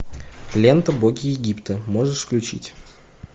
лента боги египта можешь включить